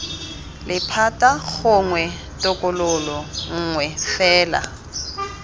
lephata gongwe tokololo nngwe fela